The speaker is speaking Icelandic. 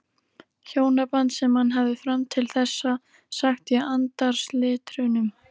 Hjónaband sem hann hafði fram til þessa sagt í andarslitrunum.